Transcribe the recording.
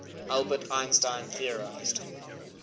albert einstein theorized